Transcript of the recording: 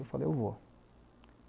Eu falei, ''eu vou.''